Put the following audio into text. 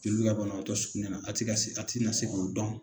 Jeli be ka banabaatɔ sukunɛ na a ti ka se a ti na se k'o dɔn